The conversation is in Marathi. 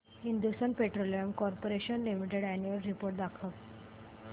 Hindustan petroleum corporation limited annual report दाखव